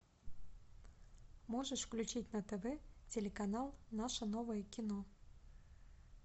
можешь включить на тв телеканал наше новое кино